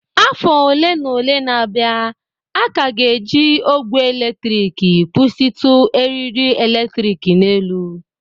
Afọ ole na ole na-abịa, a ka ga-eji ogwe eletrik kwụsịtụ eriri eletrik n'elu